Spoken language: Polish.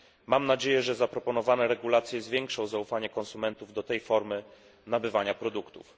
Mam nadzieję, że zaproponowane regulacje zwiększą zaufanie konsumentów do tej formy nabywania produktów.